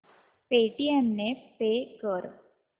Paytm ने pay कर